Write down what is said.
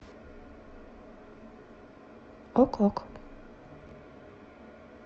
ок ок